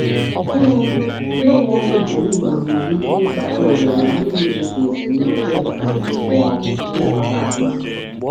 Ịgbanwe ọrụ ugboro ugboro nwere ike ibute oghere na uru dị ka ezumike nká ma ọ bụ ọ bụ nlekọta ahụike.